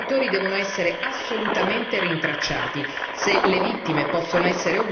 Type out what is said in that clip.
Se le vittime possono essere ovunque, i colpevoli devono essere rintracciati ovunque.